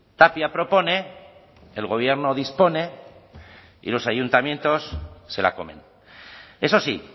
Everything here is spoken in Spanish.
tapia propone el gobierno dispone y los ayuntamientos se la comen eso sí